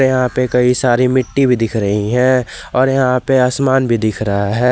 यहां पे कई सारी मिट्टी भी दिख रही हैं और यहां पे आसमान भी लिख रहा है।